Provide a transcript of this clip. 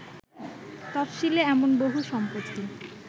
তফশিলে এমন বহু সম্পত্তি